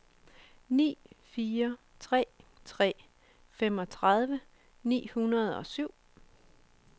ni fire tre tre femogtredive ni hundrede og syv